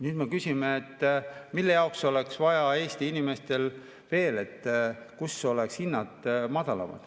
Nüüd me küsime, kus oleks vaja Eesti inimestel veel madalamaid hindu.